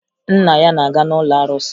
Nna ya na-aga n'ụlọ arụsị